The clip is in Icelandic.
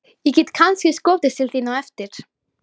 Ég get kannski skotist til þín á eftir.